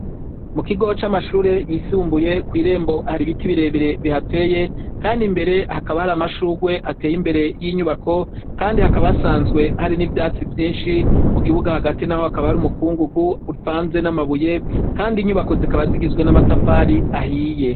Mu kigo c'amashure yisumbuye ,kw' irembo hari ibiti birebere bihateye kandi imbere hakaba hari amashugwe ateye imbere y'inyubako, kandi hakaba hasanzwe hari n'ivyatsi vyinshi mu kibuga hagati naho hakaba har'umukungugu uvanze n'amabuye kandi inyubako zikaba zigizwe n'amatafari ahiye.